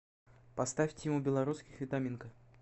поставь тима белорусских витаминка